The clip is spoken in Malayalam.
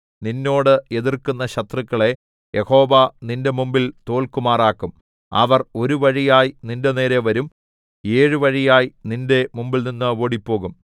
നിന്നോട് എതിർക്കുന്ന ശത്രുക്കളെ യഹോവ നിന്റെ മുമ്പിൽ തോല്ക്കുമാറാക്കും അവർ ഒരു വഴിയായി നിന്റെനേരെ വരും ഏഴു വഴിയായി നിന്റെ മുമ്പിൽനിന്ന് ഓടിപ്പോകും